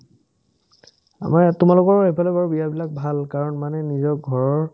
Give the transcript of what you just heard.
আমাৰ এ তোমালোকৰ এইফালে বাৰু বিয়াবিলাক ভাল কাৰণ মানুহে নিজৰ ঘৰৰ